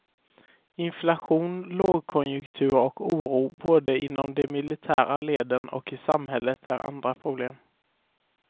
Inflation, lågkonjunktur och oro både inom de militära leden och i samhället är andra problem.